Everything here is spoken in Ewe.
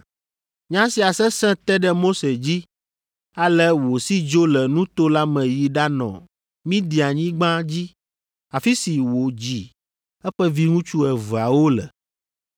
Nya sia sese te ɖe Mose dzi ale wòsi dzo le nuto la me yi ɖanɔ Midianyigba dzi afi si wòdzi eƒe viŋutsu eveawo le.